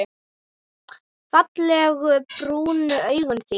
Fallegu brúnu augun þín.